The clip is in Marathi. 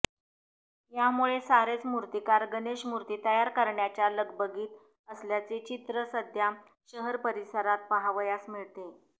यामुळे सारेच मूर्तीकार गणेश मूर्ती तयार करण्याच्या लगबगीत असल्याचे चित्र सध्या शहर परिसरात पहावयास मिळते